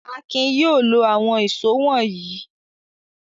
Akin yóò lo àwọn ìṣó wọ̀nyí!